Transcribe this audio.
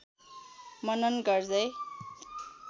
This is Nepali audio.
मनन गर्दै